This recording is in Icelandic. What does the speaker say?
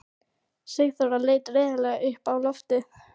Sigþóra leit reiðilega upp á loftið.